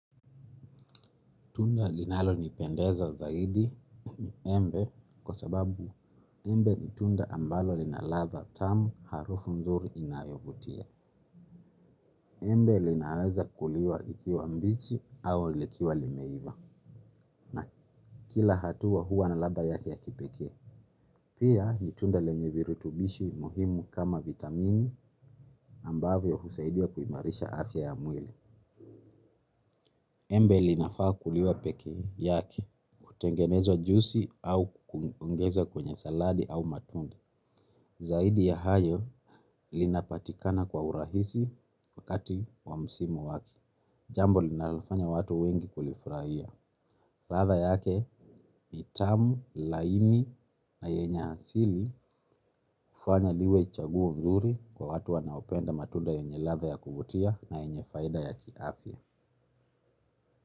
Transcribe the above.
Tunda linalo nipendeza zaidi, embe kwa sababu embe nitunda ambalo linaladha tamu harufu mzuri inayovutia. Embe linaweza kuliwa ikiwa mbichi au lekiwa limeiva. Na kila hatua hua naladha yake ya kipekee. Pia, nitunda lenyevirutubishi muhimu kama vitamini, ambavyo husaidia kuimarisha afya ya mwili. Embe linafaa kuliwa peke yake. Kutengenezwa jusi au kuongeza kwenye saladi au matunde. Zaidi ya hayo, linapatikana kwa urahisi, wakati wa msimu wake. Jambo linalofanya watu wengi kulifurahia. Ratha yake ni tamu, laini na yenye asili, fanya liwe chaguo mzuri, kwa watu wanaopenda matunda yenye latha ya kuvutia na yenye faida ya kiafya.